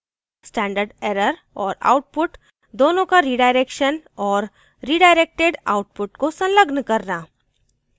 standard error और output दोनोें का redirection और रिडाइरेक्टेड output को संलग्न करना